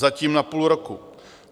Zatím na půl roku.